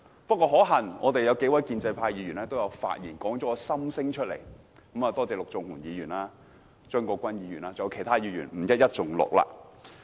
不過，可幸有數位建制派議員的發言道出了我的心聲，多謝陸頌雄議員、張國鈞議員和其他議員，不一一盡錄。